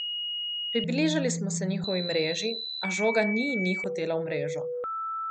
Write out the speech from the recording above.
Približali smo se njihovi mreži, a žoga ni in ni hotela v mrežo.